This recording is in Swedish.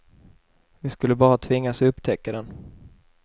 Vi skulle bara tvingas upptäcka den.